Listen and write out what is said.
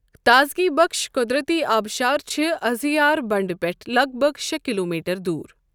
تازگی بخٕش قۄدرتی آبشار چھِ ازہیار بنٛڈٕ پٮ۪ٹھٕ لَگ بَگ شےٚ کلوٗمیٹر دوٗر۔